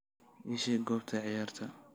ii sheeg goobta ciyaarta